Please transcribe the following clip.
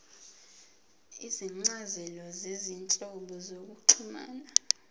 izincazelo zezinhlobo zokuxhumana